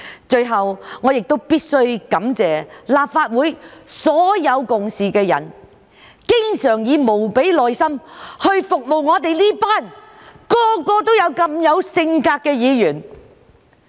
最後，我必須感謝立法會所有共事的人，經常以無比耐心服務我們這群每個都如此有性格的議員。